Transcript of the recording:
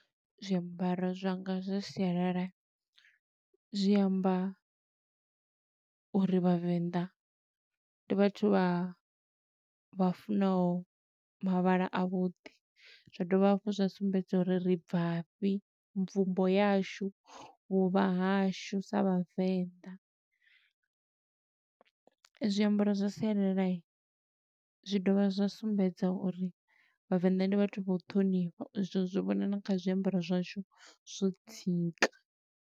Zwiambaro zwanga zwa sialala, zwi amba uri vhavenḓa, ndi vhathu vha vha funaho mavhala a vhuḓi. Zwa dovha hafhu zwa sumbedza uri ri bva fhi, mvumbo yashu, vhuvha hashu sa Vhavenḓa. Zwiambaro zwa sialala, zwi dovha zwa sumbedza uri vhavenḓa ndi vhathu vha u ṱhonifha, u zwi vhona na kha zwiambaro zwashu zwo dzika.